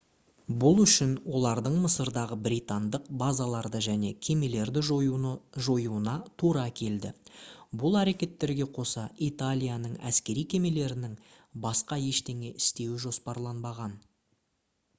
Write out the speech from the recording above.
бұл үшін олардың мысырдағы британдық базаларды және кемелерді жоюына тура келді бұл әрекеттерге қоса италияның әскери кемелерінің басқа ештеңе істеуі жоспарланбаған